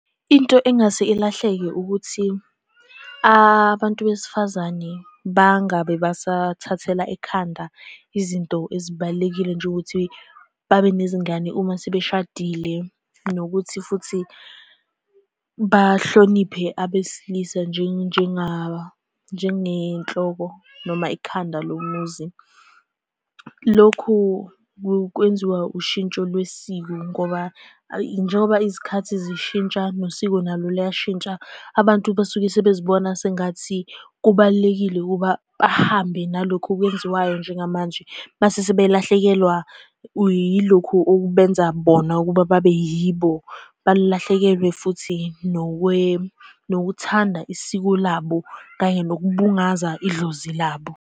Into engase ilahleke ukuthi abantu besifazane bangabe basathathela ekhanda izinto ezibalulekile njengokuthi babe nezingane uma sebeshadile, nokuthi futhi bahloniphe abesilisa njengenhloko noma ikhanda lomuzi. Lokhu kwenziwa ushintsho lwesiko, ngoba njengoba izikhathi zishintsha, nosiko nalo luyashintsha. Abantu basuke sebezibona sengathi kubalulekile ukuba bahambe nalokhu okwenziwayo njengamanje, mase sebelahlekelwa yilokhu okubenza bona ukuba babe yibo. Balahlekelwe futhi nokuthanda isiko labo kanye nokubungaza idlozi labo.